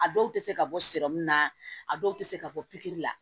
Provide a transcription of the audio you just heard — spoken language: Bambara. A dɔw tɛ se ka bɔ na a dɔw tɛ se ka bɔ pikiri la